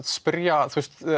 spyrja að